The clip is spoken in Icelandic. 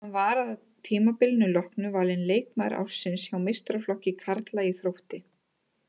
Hann var að tímabilinu loknu valinn leikmaður ársins hjá meistaraflokki karla í Þrótti.